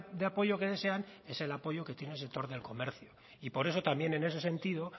de apoyo que desean es el apoyo que tiene el sector del comercio y por eso también en ese sentido